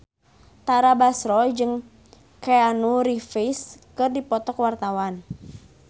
Tara Basro jeung Keanu Reeves keur dipoto ku wartawan